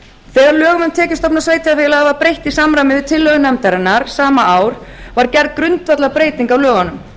þegar lögum um tekjustofna sveitarfélaga var breytt í samræmi við tillögur nefndarinnar sama ár var gerð grundvallarbreyting á lögunum